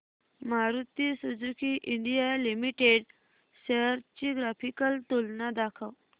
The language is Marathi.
Maruti Suzuki India Limited shares ची ग्राफिकल तुलना दाखव